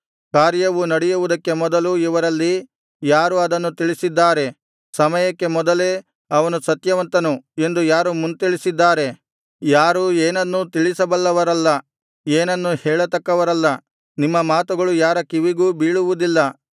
ಕಾರ್ಯವು ನಡೆಯುವುದಕ್ಕೆ ಮೊದಲು ಇವರಲ್ಲಿ ಯಾರು ಅದನ್ನು ತಿಳಿಸಿದ್ದಾರೆ ಸಮಯಕ್ಕೆ ಮೊದಲೇ ಅವನು ಸತ್ಯವಂತನು ಎಂದು ಯಾರು ಮುಂತಿಳಿಸಿದ್ದಾರೆ ಯಾರೂ ಏನನ್ನೂ ತಿಳಿಸಬಲ್ಲವರಲ್ಲ ಏನನ್ನೂ ಹೇಳತಕ್ಕವರಲ್ಲ ನಿಮ್ಮ ಮಾತುಗಳು ಯಾರ ಕಿವಿಗೂ ಬೀಳುವುದಿಲ್ಲ